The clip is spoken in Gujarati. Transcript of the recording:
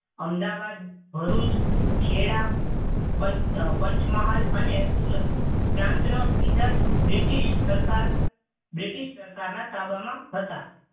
અમદાવાદ ભરૂચ ખેડા પંચ પંચમહાલ અને સુરત પ્રાંતના સીધા જ બ્રિટિશ સરકાર બ્રિટિશ સરકારના તાબામાં હતા.